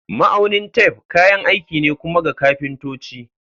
Ma'aunin tef kayan aiki ne kuma ga kafintoci.